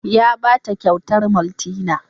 Ya ba ta kyautar maltina.